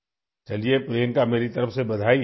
ٹھیک ہے، پرینکا، میری طرف سے مبارکباد